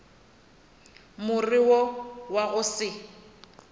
more wo wa go se